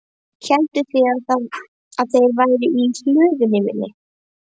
Hélduð þið að þeir væru í hlöðunni minni?